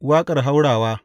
Waƙar haurawa.